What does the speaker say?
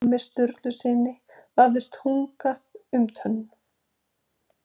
Ormi Sturlusyni vafðist tunga um tönn.